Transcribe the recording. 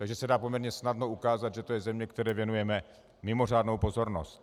Takže se dá poměrně snadno ukázat, že to je země, které věnujeme mimořádnou pozornost.